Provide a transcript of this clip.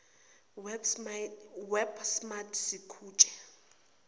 web smart sikutshe